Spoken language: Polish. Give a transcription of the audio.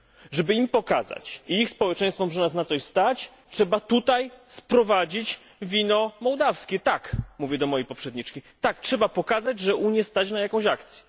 Żeby pokazać im i ich społeczeństwom, że nas na coś stać, trzeba tutaj sprowadzić wino mołdawskie. Tak mówię do mojej poprzedniczki trzeba pokazać, że Unię stać na jakąś akcję.